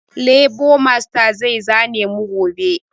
Lebo masta zai zane mu gobe